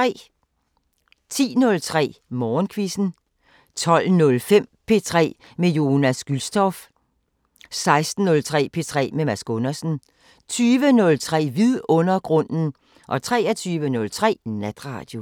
10:03: Musikquizzen 12:05: P3 med Jonas Gülstorff 16:03: P3 med Mads Gundersen 20:03: Vidundergrunden 23:03: Natradio